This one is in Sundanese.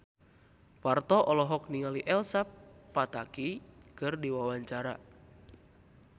Parto olohok ningali Elsa Pataky keur diwawancara